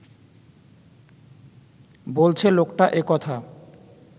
বলছে লোকটা একথা